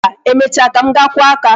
Mba, emecha ka m ga-akwụ aka